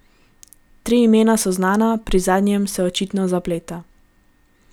Tri imena so znana, pri zadnjem se očitno zapleta.